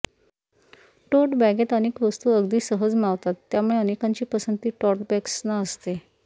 टोट बॅगेत अनेक वस्तू अगदी सहज मावतात त्यामुळे अनेकांची पसंती टोट बॅग्सना असते